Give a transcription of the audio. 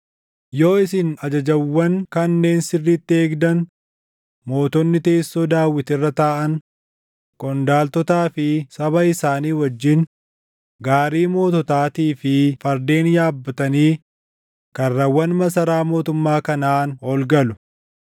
Yoo isin ajajawwan kanneen sirriitti eegdan mootonni teessoo Daawit irra taaʼan, qondaaltotaa fi saba isaanii wajjin gaarii moototaatii fi fardeen yaabbatanii karrawwan masaraa mootummaa kanaan ol galu.